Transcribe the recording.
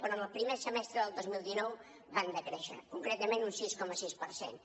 però en el primer trimestre del dos mil dinou van decréixer concretament un sis coma sis per cent